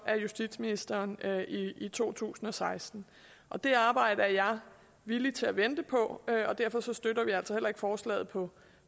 justitsministeren i to tusind og seksten det arbejde er jeg villig til at vente på og derfor støtter vi altså heller ikke forslaget på